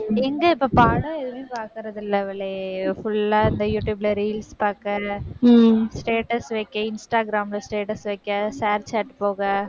எங்க இப்ப படம் எதுவும் பார்க்கறது இல்லை அவளே, full ஆ இந்த யூடுயூப்ல, reels பாக்க status வைக்க இன்ஸ்டாகிராம்ல status வைக்க, ஷேர் சேட் போக,